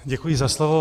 Děkuji za slovo.